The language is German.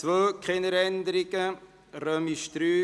(Keine Änderung anderer Erlasse)